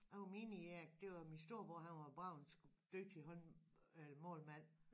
Det var meningen at det var min storebror han var bare en sgu dygtig hånd øh målmand